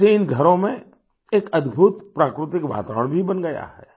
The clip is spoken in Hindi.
इससे घरों में एक अद्भुत प्राकृतिक वातावरण भी बन गया है